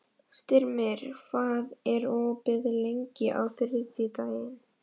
Styrmir, hvað er opið lengi á þriðjudaginn?